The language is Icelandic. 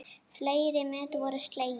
Fleiri met voru slegin.